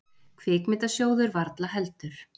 Kvikmyndasjóður varla heldur.